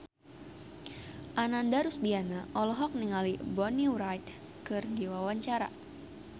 Ananda Rusdiana olohok ningali Bonnie Wright keur diwawancara